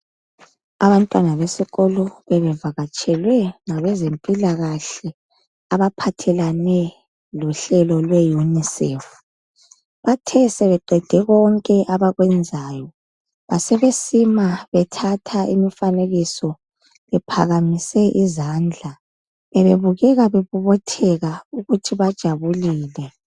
Abantwana besikolo bebevakatshelwe ngabezempilakahle abaphathelane lohlelo lwe UNICEF. Bathe sebeqede konke abakwenzayo basebesima bethatha imifanekiso bephakamise izandla. Bebebukeka bebobotheka ukuthi bajabulile.